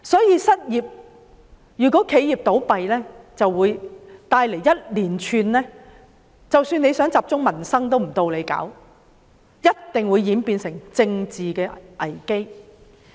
由於企業倒閉會帶來連串影響，即使當局想集中處理民生也不能，屆時定會演變成政治危機。